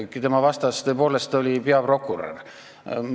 Tema vastas oli peaprokurör.